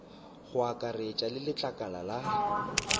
go akaretša le letlakala la